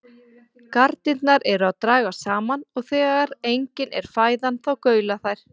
Garnirnar eru að dragast saman og þegar engin er fæðan þá gaula þær.